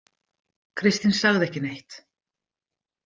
Kristín sagði ekki neitt.